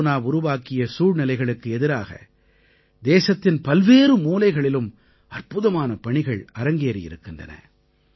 corona உருவாக்கிய சூழ்நிலைகளுக்கு எதிராக தேசத்தின் பல்வேறு மூலைகளிலும் அற்புதமான பணிகள் அரங்கேறியிருக்கின்றன